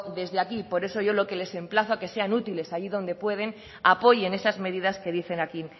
desde aquí por eso yo lo que les emplazo es a que sean útiles allí donde pueden apoyen esas medidas que dicen aquí